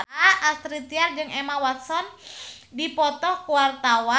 Astrid Tiar jeung Emma Watson keur dipoto ku wartawan